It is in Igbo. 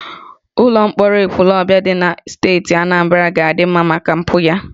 Ụlọ mkpọrọ Ekwulọbịa dị na steeti Anambra ga-adị mma maka mpụ ya